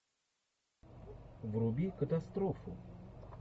вруби катастрофу